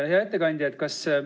Hea ettekandja!